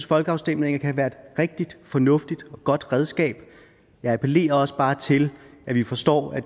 folkeafstemninger kan være et rigtig fornuftigt og godt redskab jeg appellerer også bare til at vi forstår at